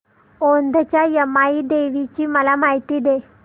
औंधच्या यमाई देवीची मला माहिती दे